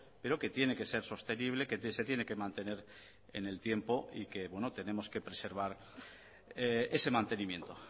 pero que tiene que ser sostenible que se tiene que mantener en el tiempo y que tenemos que preservar ese mantenimiento